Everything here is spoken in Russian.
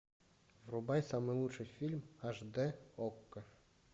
врубай самый лучший фильм аш дэ окко